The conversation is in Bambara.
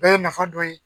Bɛɛ ye nafa dɔ ye